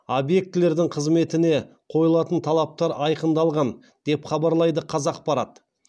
объектілердің қызметіне қойылатын талаптар айқындалған деп хабарлайды қазақпарат